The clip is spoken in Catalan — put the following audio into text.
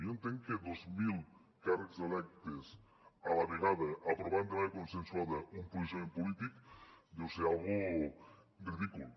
jo entenc que dos mil càrrecs electes a la vegada aprovant de manera consensuada un posicionament polític deu ser una cosa ridícula